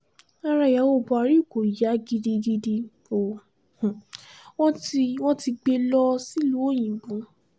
ara ìyàwó buhari kò yá gidigidi o wọn ti wọn ti gbé e lọ sílùú òyìnbó